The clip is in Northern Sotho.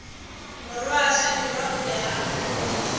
morwa hlabirwa o be a